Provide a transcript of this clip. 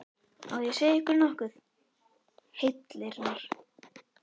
Á ég að segja ykkur nokkuð, heillirnar?